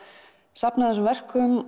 safna þessum verkum